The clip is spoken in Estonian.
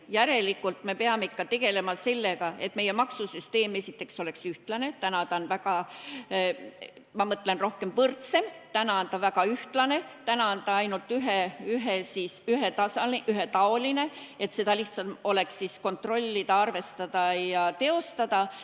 Järelikult me peame ikka tegelema sellega, et meie maksusüsteem oleks esiteks rohkem võrdsem – praegu ta on ühetaoline – ning et seda oleks lihtsam kontrollida, arvestada ja teostada.